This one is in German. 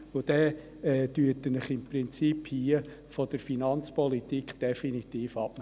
Im Prinzip melden Sie sich hiermit von der Finanzpolitik definitiv ab.